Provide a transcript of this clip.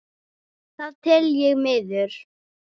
Það tel ég miður.